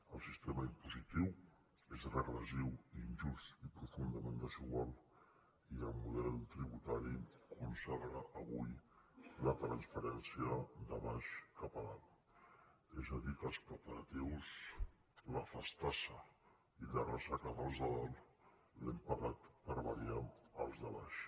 el sistema impositiu és regressiu i injust i profundament desigual i el model tributari consagra avui la transferència de baix cap a dalt és a dir que els preparatius la festassa i la ressaca dels de dalt els hem pagat per variar els de baix